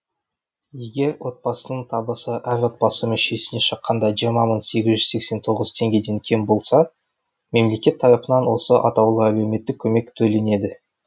егер отбасының табысы әр отбасы мүшесіне шаққанда жиырма мың сегіз жүз сексен тоғыз теңгеден кем болса мемлекет тарапынан осы атаулы әлеуметтік көмек төленеді